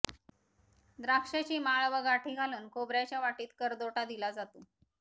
द्राक्षाची माळ व गाठी घालून खोबऱ्याच्या वाटीत करदोटा दिला जातो